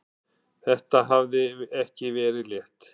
Þetta hafði ekki verið létt.